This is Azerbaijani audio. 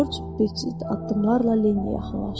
Corc ciddiyətli addımlarla Leniyə yaxınlaşdı.